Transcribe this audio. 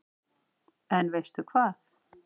En veistu hvað